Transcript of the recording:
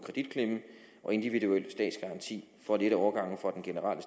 individuel statsgaranti for at lette overgangen fra den generelle